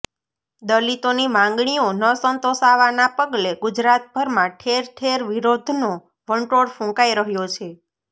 દલિતોની માંગણીઓ ન સંતોષાવાના પગલે ગુજરાતભરમાં ઠેર ઠેર વિરોધનો વંટોળ ફુંકાઈ રહ્યો છે